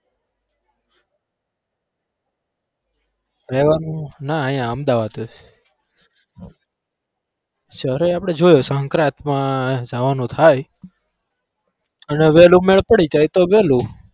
રહેવાનું ના અહીંયા અમદાવાદ જ આપણે જોયો સંક્રાતમાં જવાનું થાય અને વહેલું મેળ પડી જાય તો વહેલું.